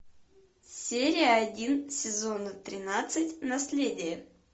серия один сезона тринадцать наследие